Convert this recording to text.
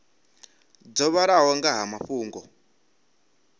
dzo vhalaho nga ha mafhungo